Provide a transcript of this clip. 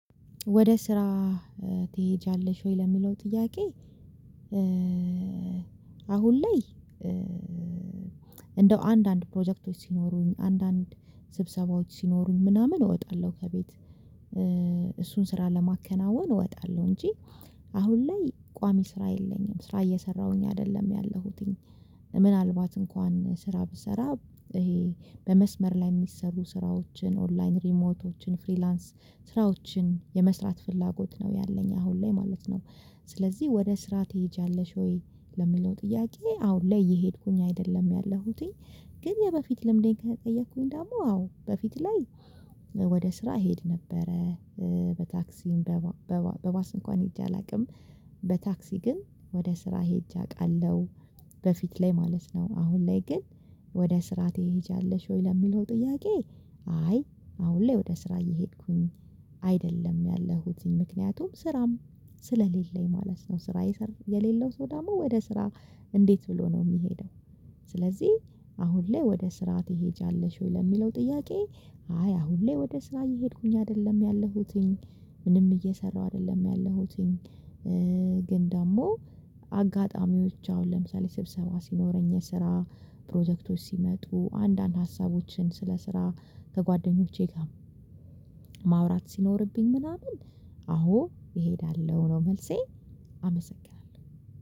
ወደ ስራ ትሄጃለሽ ወይ ለሚለው ጥያቄ? አሁን ላይ እንደው አንዳንድ ፕሮጀክቶች ሲኖሩኝ አንዳንድ ስብሰባዎች ሲኖሩኝ ምናምን እወጣለሁ ከቤት እሱን ስራ ለማከናወን እወጣለሁ። እንጂ አሁን ላይ ቋሚ ስራ የለኝም ስራ እየሰራሁኝ አይደለም ያለሁትኝ። ምናልባት እንኳን ስራ ብሰራ ይሄ በመስመር ላይ የሚሰሩ ስራዎችን ኦንላይን ሪሞቶችን ፍሪላንስ ስራዎችን የመስራት ፍላጎት ነው ያለኝ አሁን ላይ ማለት ነው። ስለዚህ ወደ ስራ ትሄጃለሽ ወይ ለሚለው ጥያቄ? አሁን ላይ የሄድኩኝ አይደለም ያለሁትኝ። ግን የበፊት ልምዴን ከተጠየኩኝ ደግሞ አዎ በፊት ላይ ወደ ስራ እሄድ ነበረ በታክሲም በባስ እንኳን ሄጄ አላውቅም። በታክሲ ግን ወደ ስራ ሄጄ አውቃለሁ። በፊት ላይ ማለት ነው አሁን ላይ ግን ወደ ስራ ትሄጃለሽ ወይ ለሚለው ጥያቄ? አይ አሁን ላይ ወደ ስራ እየሄድኩኝ አይደለም ያለሁት እዚህ ምክንያቱም ስራም ስለሌለኝ ማለት ነው። ስራ የሌለው ሰው ደግሞ ወደ ስራ እንዴት ብሎ ነው የሚሄደው? ስለዚህ አሁን ላይ ወደ ስራ ትሄጃለሽው ለሚለው ጥያቄ? አይ አሁን ላይ ወደ ስራ እየሄድኩኝ አይደለም ያለሁትኝ ምንም እየሰራሁ አይደለም ያለሁትኝ። ግን ደግሞ አጋጣሚዎች አሁን ለምሳሌ ስብሰባ ሲኖረኝ ስራ ፕሮጀክቶች ሲመጡ አንዳንድ ሀሳቦችን ስለ ስራ ከጓደኞቼ ጋር ማውራት ሲኖርብኝ ምናምን አዎ እሄዳለሁ ነው። መልሴ አመሰግናለሁ